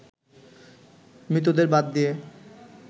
মৃতদের বাদ দিয়ে